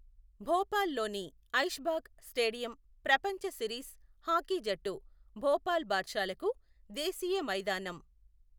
భోపాల్లోని Aishbagh stadium ప్రపంచ series hockey జట్టు భోపాల్ బాద్షాలకు దేశీయ మైదానం.